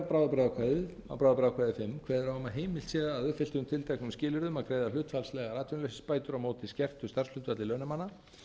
kveður á um að heimilt sé að uppfylltum tilteknum skilyrðum að greiða hlutfallslegar atvinnuleysisbætur á móti skertu starfshlutfalli launamanna